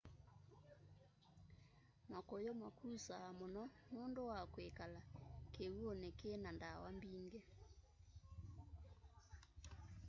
makuyu makusa muno nundu wa kwikala kiw'uni ki na ndawa mbingi